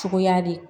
Cogoya de